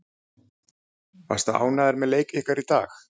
Varstu ánægður með leik ykkar í dag?